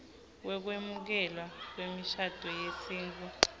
wekwemukelwa kwemishado yesintfu